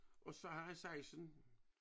Og så havde han saisen